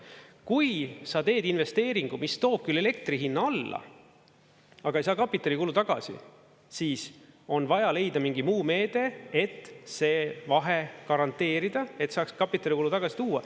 Kui sa teed investeeringu, mis toob küll elektri hinna alla, aga ei saa kapitalikulu tagasi, siis on vaja leida mingi muu meede, et see vahe garanteerida, et saaks kapitalikulu tagasi tuua.